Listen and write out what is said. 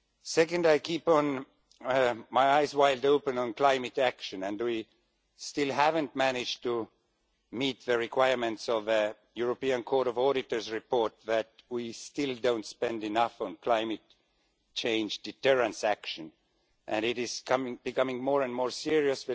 Secondly, I keep my eyes wide open on climate action, and we have still not managed to meet the requirements of the European Court of Auditors report, in that we still do not spend enough on climate change deterrence action, and the situation is becoming more and more serious.